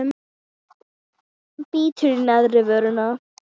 Bítur í neðri vörina.